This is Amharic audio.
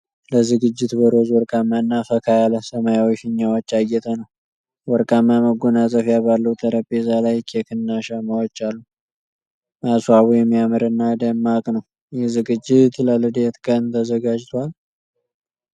ለዝግጅት በሮዝ፣ ወርቃማ እና ፈካ ያለ ሰማያዊ ፊኛዎች ያጌጠ ነው። ወርቃማ መጎናጸፊያ ባለው ጠረጴዛ ላይ ኬክ እና ሻማዎች አሉ። ማስዋቡ የሚያምር እና ደማቅ ነው። ይህ ዝግጅት ለልደት ቀን ተዘጋጅቷል?